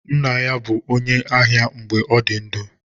Nna ya bụ onye ahịa mgbe ọ dị ndụ.